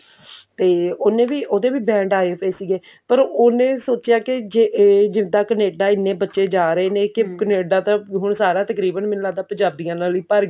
ਤੇ ਉਹਨੇ ਵੀ ਉਹਦੇ ਵੀ band ਆਏ ਹੋਏ ਸੀਗੇ ਪਰ ਉਹਨੇ ਸੋਚਿਆ ਕਿ ਜੇ ਇਹ ਜਿਦਾਂ Canada ਇੰਨੇ ਬੱਚੇ ਜਾਂ ਰਹੇ ਨੇ ਕੀ Canada ਤਾਂ ਹੁਣ ਸਾਰਾ ਤਕਰੀਬਨ ਮੈਨੂੰ ਲੱਗਦਾ ਪੰਜਾਬੀਆਂ ਨਾਲ ਹੀ ਭਰ